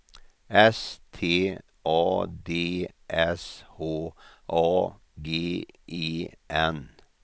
S T A D S H A G E N